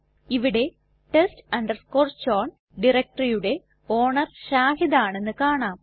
ഇവിടെ test chown directoryയുടെ owner Shahid ആണെന്ന് കാണാം